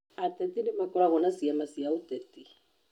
Ateti nĩmakoragwo na ciama cia ũteti